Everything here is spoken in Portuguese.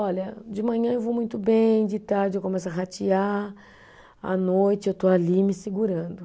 Olha, de manhã eu vou muito bem, de tarde eu começo a ratear, à noite eu estou ali me segurando.